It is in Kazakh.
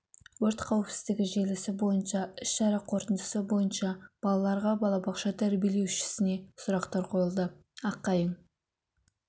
өрт қауіпсіздігі желісі бойынша іс-шара қорытындысы бойынша балаларға балабақша тәрбиеленушісіне сұрақтар қойылды аққайың